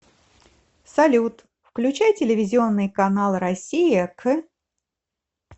салют включай телевизионный канал россия к